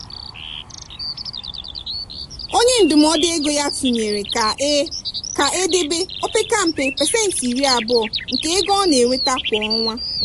onye ndụmọdụ ego ya tụnyere ka e ka e debe opeka mpa pasentị iri abụọ nke ego ọ na-enweta kwa ọnwa.